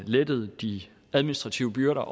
lettet de administrative byrder